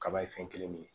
Kaba ye fɛn kelen min ye